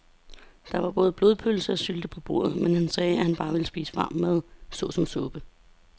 Der var både blodpølse og sylte på bordet, men han sagde, at han bare ville spise varm mad såsom suppe.